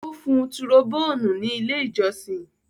Ó fun tùròbóònì ní ilé-ìjọsìn.